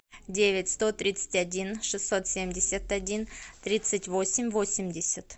девять сто тридцать один шестьсот семьдесят один тридцать восемь восемьдесят